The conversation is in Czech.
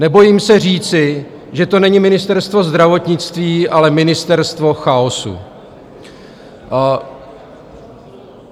Nebojím se říci, že to není Ministerstvo zdravotnictví, ale Ministerstvo chaosu.